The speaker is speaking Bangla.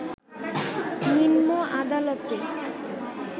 নিম্ন আদালতে